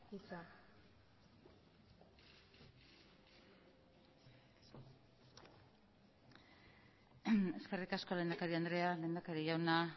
hitza eskerrik asko lehendakari andrea lehendakari jauna